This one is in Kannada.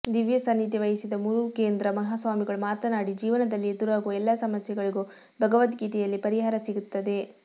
ದಿವ್ಯ ಸಾನಿಧ್ಯ ವಹಿಸಿದ ಮುರುಘೇಂದ್ರ ಮಹಾಸ್ವಾಮಿಗಳು ಮಾತನಾಡಿ ಜೀವನದಲ್ಲಿ ಎದುರಾಗುವ ಎಲ್ಲ ಸಮಸ್ಯೆಗಳಿಗೂ ಭಗವದ್ಗೀತೆಯಲ್ಲಿ ಪರಿಹಾರ ಸಿಗುತ್ತದೆ